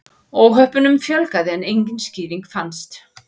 Óhöppunum fjölgaði en engin skýring fannst.